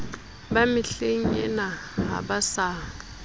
ba mehlengena ha ba sa